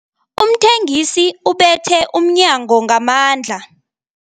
Umthengisi ubethe umnyango ngamandla.